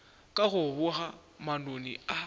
ka go boga manoni a